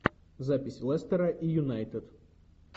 запись лестера и юнайтед